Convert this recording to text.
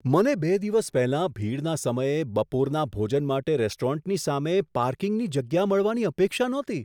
મને બે દિવસ પહેલાં ભીડના સમયે બપોરના ભોજન માટે રેસ્ટોરન્ટની સામે પાર્કિંગની જગ્યા મળવાની અપેક્ષા નહોતી.